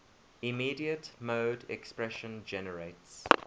immediate mode expression generates